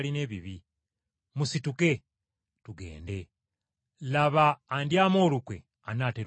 Musituke! Tugende, laba andyamu olukwe anaatera okutuuka.”